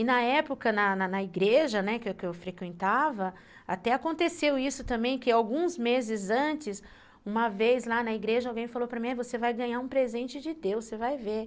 E na época, na na igreja, né, que eu frequentava, até aconteceu isso também, que alguns meses antes, uma vez lá na igreja, alguém falou para mim, você vai ganhar um presente de Deus, você vai ver.